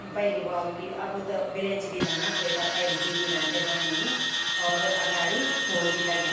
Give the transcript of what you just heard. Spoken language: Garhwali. पैली बोवाल्द कि अब त भी धन्ना कोए पर पैली बिधि रैंद थे बणीं और अगाड़ी फूल भी लग्याँ।